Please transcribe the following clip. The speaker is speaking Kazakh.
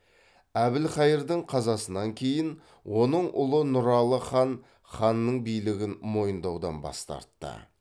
әбілқайырдың қазасынан кейін оның ұлы нұралы хан ханның билігін мойындаудан бас тартты